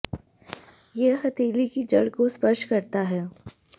यह हथेली की जड़ को स्पर्श करता है